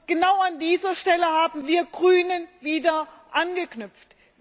Genau an dieser Stelle haben wir Grüne wieder angeknüpft.